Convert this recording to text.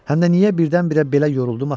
Həm də niyə birdən-birə belə yoruldum axı?